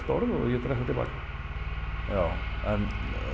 orð og ég dreg það til baka já en